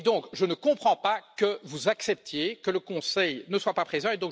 Je ne comprends donc pas que vous acceptiez que le Conseil ne soit pas présent.